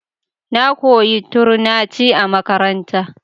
Na koyi Turnaci a makaranta.